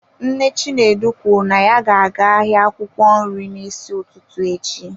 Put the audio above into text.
Nne Chinedu kwuru na ya ga-aga ahịa akwụkwọ nri n'isi ụtụtụ echi.